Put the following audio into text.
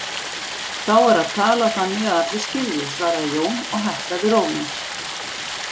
Þá er að tala þannig að allir skilji, svaraði Jón og hækkaði róminn.